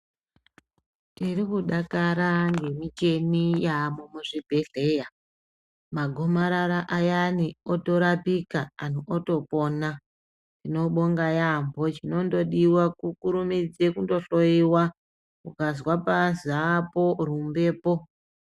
Tiri kudakara ngemicheni yaamo muzvibedhleya. Magomarara ayani otorapika anhu otopona. Tinobonga yaambo, Chinondodiwa kukurumidze kundohloyiwa. Ukazwa paazi aapo, rumbepo.